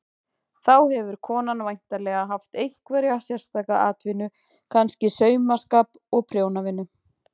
Þá hefur konan væntanlega haft einhverja sérstaka atvinnu, kannski saumaskap og prjónavinnu.